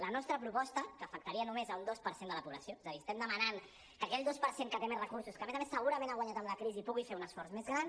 la nostra proposta que afectaria només un dos per cent de la població és a dir estem demanant que aquell dos per cent que té més recursos que a més a més segurament ha guanyat amb la crisi pugui fer un esforç més gran